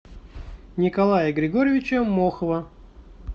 николая григорьевича мохова